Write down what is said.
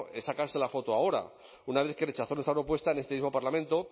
es sacarse la foto ahora una vez que rechazó nuestra propuesta en este mismo parlamento